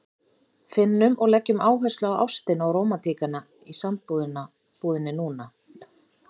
Finnum og leggjum áherslu á ástina og rómantíkina í sambúðinni núna!